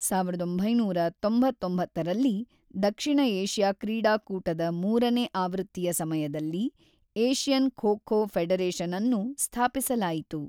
ಸಾವಿರದ ಒಂಬೈನೂರ ತೊಂಬತ್ತೊಂಬತ್ತರಲ್ಲಿ, ದಕ್ಷಿಣ ಏಷ್ಯಾ ಕ್ರೀಡಾಕೂಟದ ೩ನೇ ಆವೃತ್ತಿಯ ಸಮಯದಲ್ಲಿ ಏಷ್ಯನ್ ಖೋ ಖೋ ಫೆಡರೇಶನ್ಅನ್ನು ಸ್ಥಾಪಿಸಲಾಯಿತು.